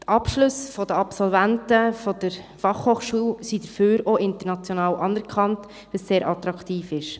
Die Abschlüsse der Fachhochschulabsolventen sind dafür auch international anerkannt, was sehr attraktiv ist.